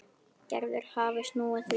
Gerður hafði snúið því við.